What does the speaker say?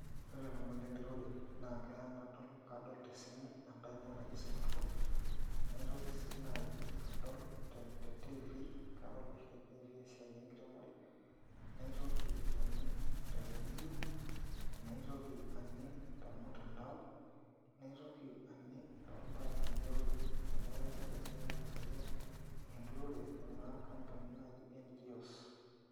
Ore ilomon lenturore naa keya nadol kadol tesimu enkaina naji smartphone naitoki sii naai adol te TV kadol oshi te TV esiai enkiremore naitoki aning' te redio naitoki aning' tormutandao naitoki aning' torbarasani amu keya neponunui aifundisha iyiook enturore kuna ampunini naaji NGOs.